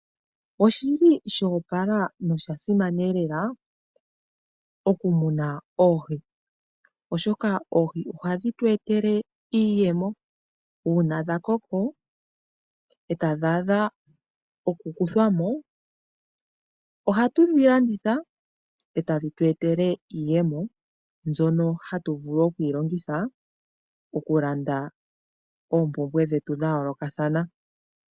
Oshi li sho opala nosha simana lela oku muna oohi oshoka oohi ohadhi tu etele iiyemo. Uuna dha koko e tadhi adha oku kuthwa mo ohatu dhi landitha e tadhi tu etele iiyemo mbyono hatu vulu okuyilongitha oku landa oompumbwe dhetu dha yoolokathana.